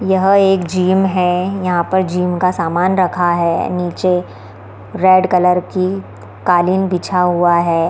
ये एक जिम है यहाँ पर जिम का समान रखा हुआ है नीचे रेड कलर के कालीन बचा हुआ है।